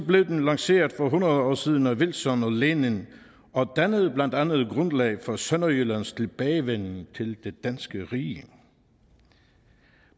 blev den lanceret for hundrede år siden af wilson og lenin og dannede blandt andet grundlag for sønderjyllands tilbagevenden til det danske rige